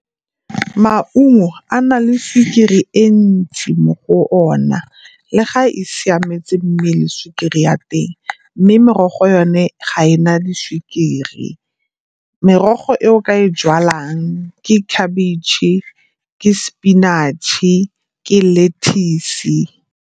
Maungo a na le sukiri e ntsi mo go ona le ga e siametse mmele sukiri ya teng, mme merogo yone ga e na di sukiri. Merogo e o ka e jalang ke khabitšhe, ke spinach-e, ke le lettuce-si.